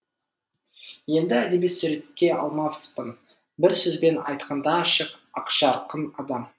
енді әдеби суреттей алмаспын бір сөзбен айтқанда ашық ақжарқын адам